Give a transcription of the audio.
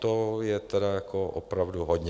To je tedy jako opravdu hodně.